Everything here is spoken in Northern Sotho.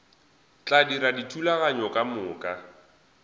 tla dira dithulaganyo ka moka